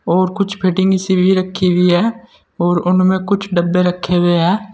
और कुछ फिटिंग इसी भी रखी हुई है और उनमें कुछ डब्बे रखे हुए हैं।